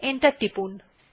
enter টিপুন